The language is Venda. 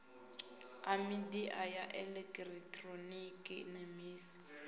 a midia ya elekitironiki nemisa